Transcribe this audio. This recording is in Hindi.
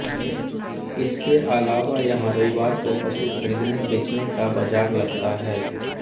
इसके अलावा यहाँ रविवार को पशु ख़रीदनेबेचने का बाज़ार लगता है